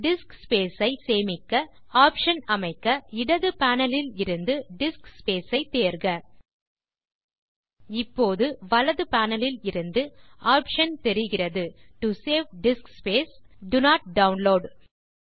disk space ஐ சேமிக்க option அமைக்க இடது பேனல் இலிருந்து டிஸ்க் ஸ்பேஸ் ஐ தேர்க இப்போது வலது panelஇலிருந்து ஆப்ஷன் தெரிகிறது to save disk space do not download